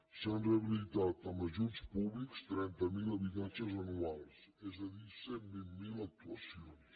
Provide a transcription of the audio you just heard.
s’han rehabilitat amb ajuts públics trenta miler habitatges anuals és a dir cent i vint miler actuacions